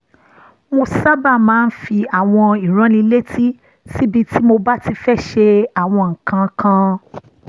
mo sábà máa ń fi àwọn ìránnilétí síbi tí mo bá ti fẹ́ ṣe àwọn nǹkan kan